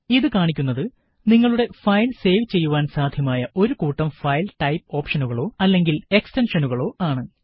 ഇത് കാണിക്കുന്നത് നിങ്ങളുടെ ഫയല് സേവ് ചെയ്യുവാന് സാധ്യമായ ഒരു കൂട്ടം ഫയല് ടൈപ് ഓപ്ഷനുകളോ അല്ലെങ്കില് എക്സ്റ്റെന്ഷനുകളോ ആണ്